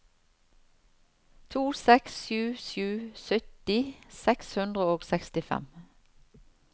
to seks sju sju sytti seks hundre og sekstifem